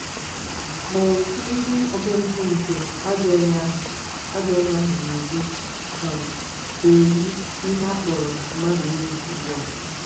Ma òtù ndị omempụ nke “ajọ onye ahụ” “ajọ onye ahụ” na-edu um na-eyi ihe a kpọrọ mmadụ egwu ugbu a.